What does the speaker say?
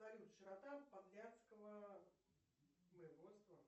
салют широта подляцкого воеводтсва